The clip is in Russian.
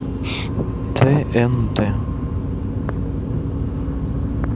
тнт